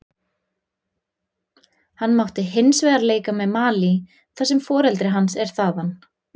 Hann mátti hinsvegar leika með Malí þar sem foreldri hans er þaðan.